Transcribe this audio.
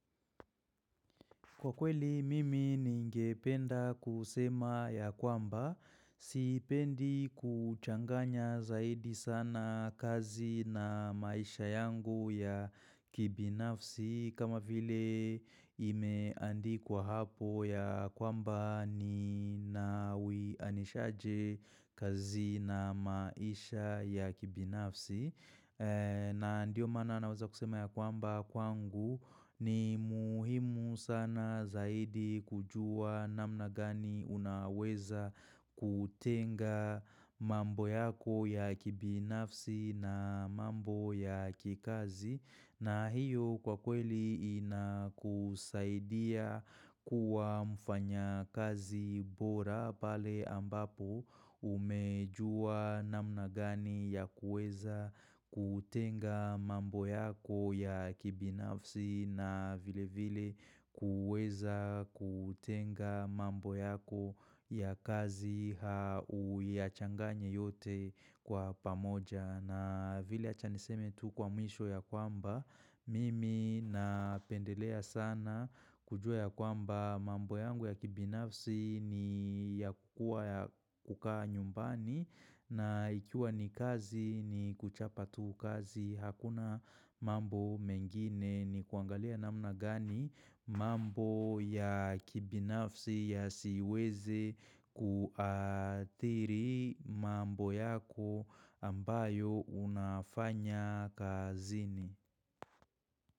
Kwa kweli mimi ningependa kusema ya kwamba, sipendi kuchanganya zaidi sana kazi na maisha yangu ya kibinafsi kama vile imeandikwa hapo ya kwamba ni nawianishaje kazi na maisha ya kibinafsi. Na ndiyo maana naweza kusema ya kwamba kwangu ni muhimu sana zaidi kujua namna gani unaweza kutenga mambo yako ya kibinafsi na mambo ya kikazi. Na hiyo kwa kweli ina kusaidia kuwa mfanya kazi bora pale ambapo umejua namna gani ya kuweza kutenga mambo yako ya kibinafsi na vile vile kuweza kutenga mambo yako ya kazi uyachanganye yote kwa pamoja. Na vile achaniseme tu kwa mwisho ya kwamba, mimi napendelea sana kujua ya kwamba mambo yangu ya kibinafsi ni ya kukua ya kukaa nyumbani na ikiwa ni kazi ni kuchapa tu kazi hakuna mambo mengine ni kuangalia namna gani mambo ya kibinafsi ya siweze kuathiri mambo yako ambayo unafanya kazini.